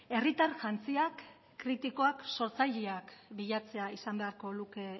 herritar jantziak kritikoak sortzaileak bilatzea izan beharko luke